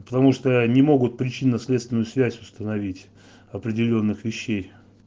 потому что не могут причинно-следственную связь установить определённых вещей